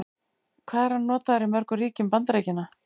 Hvað er hann notaður í mörgum ríkjum Bandaríkjanna?